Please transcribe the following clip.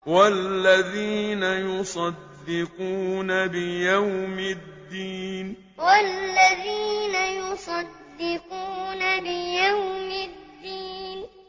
وَالَّذِينَ يُصَدِّقُونَ بِيَوْمِ الدِّينِ وَالَّذِينَ يُصَدِّقُونَ بِيَوْمِ الدِّينِ